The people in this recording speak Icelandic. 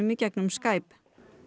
í gegnum Skype